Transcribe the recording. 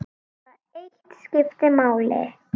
Það eitt skipti máli.